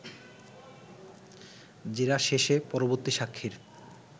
জেরা শেষে পরবর্তী সাক্ষীর